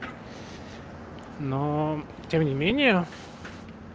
но тем не менее